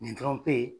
Nin dɔrɔn te yen